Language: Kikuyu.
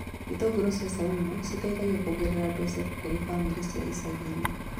Itũngũrũ cia caumu citeithagia kuongerera mbeca kũrĩ bamĩrĩ cia icagi-inĩ